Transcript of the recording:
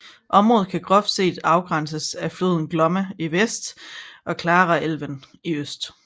Området kan groft set afgrænses af floden Glomma i vest og Klarälven i øst